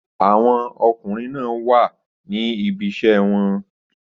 Àwọn ọkùnrin náà wà ní ibi iṣẹ́ wọn.